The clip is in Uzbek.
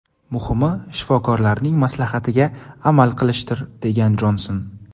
Muhimi, shifokorlarning maslahatiga amal qilishdir”, degan Jonson.